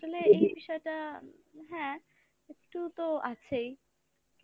আসলে এই বিষয়টা হ্যাঁ একটু তো আছেই কিন্তু